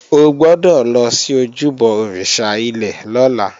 O gbọ́dọ̀ lọ sí ojúbọ òrìṣà ilẹ̀ lọ́la!